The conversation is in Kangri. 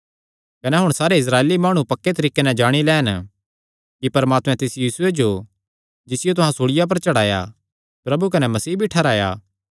कने हुण सारे इस्राएली माणु पक्के तरीके नैं जाणी लैन कि परमात्मैं तिस यीशुये जो जिसियो तुहां सूल़िया पर चढ़ाया प्रभु कने मसीह भी ठैहराया